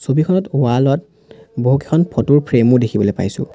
ছবিখনত ৱাল ত বহুকেখন ফটো ৰ ফ্ৰেম ও দেখিবলৈ পাইছোঁ।